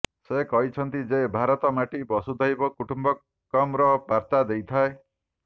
ସେ କହିଛନ୍ତି ଯେ ଭାରତ ମାଟି ବସୁଧୈବ କୁଟୁମ୍ବକମ୍ର ବାର୍ତ୍ତା ଦେଇଥାଏ